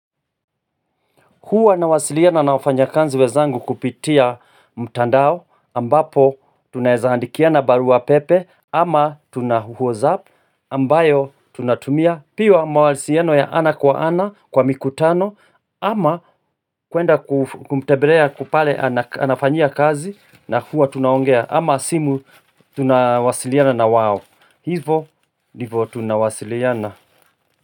Huwa nawasiliana na wafanyakazi wenzangu kupitia mtandao ambapo tunaeza andikiana barua pepe ama tuna WhatsApp ambayo tunatumia pia mawalisiano ya ana kwa ana kwa mikutano ama kuenda kumtembelea kwa pale anafanyia kazi na huwa tunaongea ama simu tunawasiliana na wao. Hivo ndivo tunawasiliana.